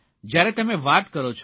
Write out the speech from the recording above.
જયારે તમે વાત કરો છો